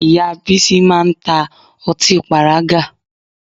Ìyá Bísí máa ń ta ọtí pàrágà